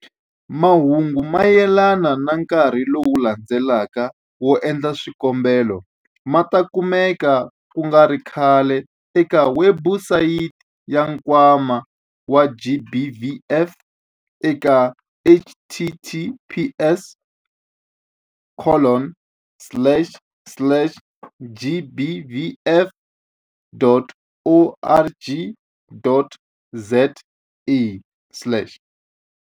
Mahungu mayelana na nkarhi lowu landzelaka wo endla swikombelo ma ta kumeka ku nga ri khale eka webusayiti ya Nkwama wa GBVF eka- https colon slash slash gbvf.org.za slash.